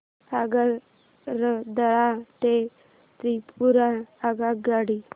आगरतळा ते त्रिपुरा आगगाडी